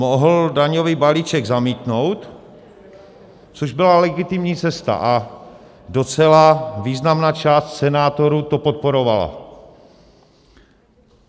Mohl daňový balíček zamítnout, což byla legitimní cesta, a docela významná část senátorů to podporovala.